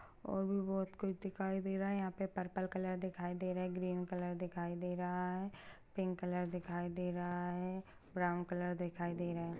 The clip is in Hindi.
और भी बोहोत कुछ दिखाई दे रहा है यहाँ पर पर्पल कलर दिखाई दे रहा हैं ग्रीन कलर दिखाई दे रहा है पिंक कलर दिखाई दे रहा है ब्राउन कलर दिखाई दे रहे हैं।